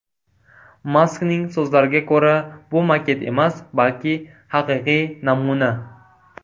Maskning so‘zlariga ko‘ra bu maket emas, balki haqiqiy namuna.